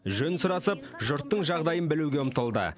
жөн сұрасып жұрттың жағдайын білуге ұмтылды